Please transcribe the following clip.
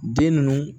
Den ninnu